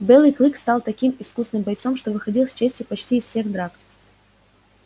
белый клык стал таким искусным бойцом что выходил с честью почти из всех драк